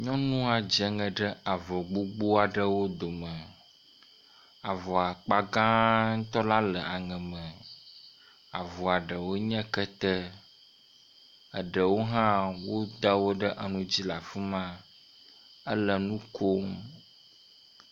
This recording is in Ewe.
Nyɔnua dze ŋe ɖe avɔ gbogboa ɖewo dome. Avɔa akpa gãatɔ la le aŋe me. Avɔa ɖewoe nye kete, eɖewo hã woda wo ɖe enu dzi la fi ma. Ele nu kom.